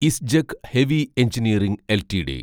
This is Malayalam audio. Isgec heavy engineering LTD